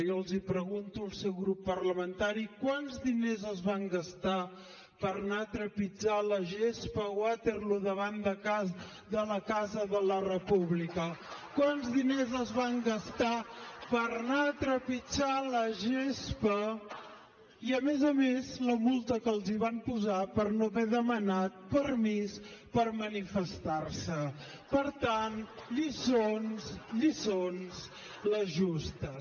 jo els pregunto al seu grup parlamentari quants diners es van gastar per anar a trepitjar la gespa a waterloo davant de la casa de la república quants diners es van gastar per anar a trepitjar la gespa i a més a més la multa que els van posar per no haver demanat permís per manifestar se per tant lliçons les justes